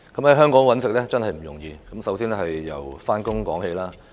在香港生活真不容易，先由上班說起。